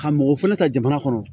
Ka mɔgɔ fɛnɛ ta jamana kɔnɔ